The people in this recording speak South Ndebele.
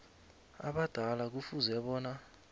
abadala kufuze bona